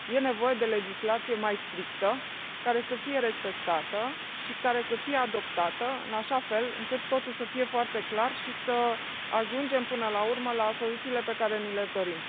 Este nevoie de legislație mai strictă, care să fie respectată și care să fie adoptată în așa fel încât totul să fie foarte clar și să ajungem până la urmă la soluțiile pe care ni le dorim.